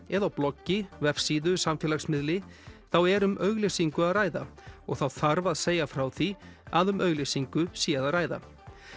eða á bloggi vefsíðu samfélagsmiðli þá er um auglýsingu að ræða og þá þarf að segja frá því að um auglýsingu sé að ræða